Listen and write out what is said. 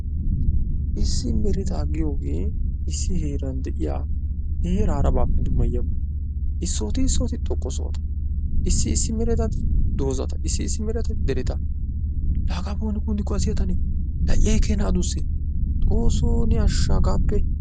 Issi mereta giyooge issi heeran de'iyaa heera harappe dummayiyaaba. issoti issoti xoqqa sohota, issi isi mereatatik doozata, issi issi meretatti dereta. La hagappe won kunttikkio eetanne! xoossoo ashsha hagappe.